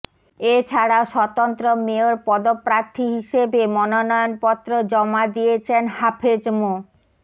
এছাড়াও স্বতন্ত্র মেয়র পদপ্রার্থী হিসেবে মনোনয়নপত্র জমা দিয়েছেন হাফেজ মো